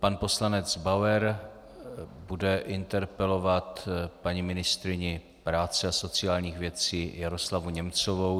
Pan poslanec Bauer bude interpelovat paní ministryni práce a sociálních věcí Jaroslavu Němcovou.